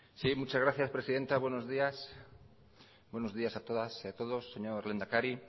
sí muchas gracias presidenta buenos días buenos días a todas y a todos señor lehendakari